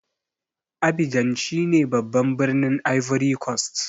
Abidjan shine babban birnin Ivory cost.